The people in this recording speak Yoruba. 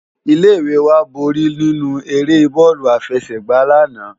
Ilé iwé wá ló bóri ninú éré bòlú àfèsègbá làná